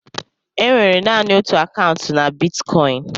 E nwere naanị otú akaụntụ na bitkọịn.